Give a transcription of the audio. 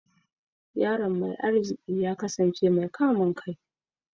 Yaron mai arziki ya kasance mai kamun kai